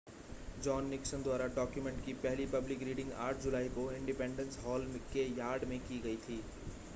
John Nixon द्वारा document की पहली पब्लिक रीडिंग 8 जुलाई को इंडिपेंडेंस हॉल के यार्ड में की गई थी